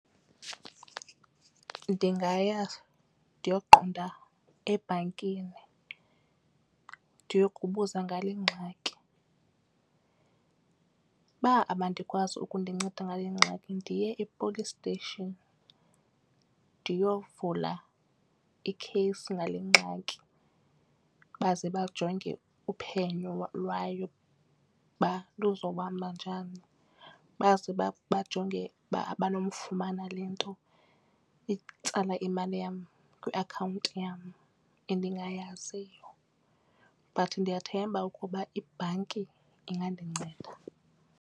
Ndingaya ndiyokuqonda ebhankini ndiyokubuza ngale ngxaki. Uba abandikwazi ukundinceda ngale ngxaki ndiye e-police station ndiyovula ikheyisi ngale ngxaki. Baze bajonge uphenyo lwayo uba luzohamba njani baze bajonge ukuba abanokufumana le nto itsala imali yam kwiakhawunti yam endingayaziyo but ndiyathemba ukuba ibhanki ingandinceda.